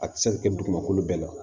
A tɛ se ka kɛ dugumakolo bɛɛ la